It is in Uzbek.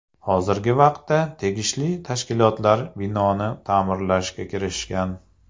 Hozirgi vaqtda tegishli tashkilotlar binoni ta’mirlashga kirishgan.